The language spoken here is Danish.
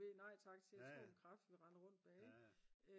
ved nej tak til atomkraft vi render rundt med ik